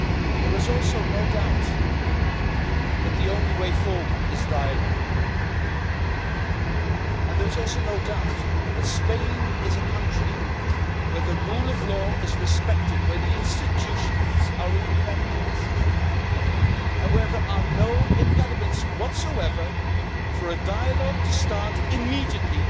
There is also no doubt that the only way forward is dialogue, and there is also no doubt that Spain is a country where the rule of law is respected, where the institutions are independent and where there are no impediments whatsoever for a dialogue to start immediately.